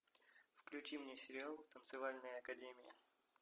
включи мне сериал танцевальная академия